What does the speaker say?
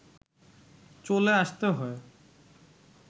চলে আসতে হয়